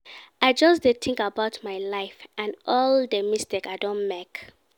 I just dey think about my life and all the mistake I don make